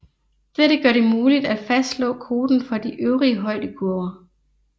Dette gør det muligt at fastslå koten for de øvrige højdekurver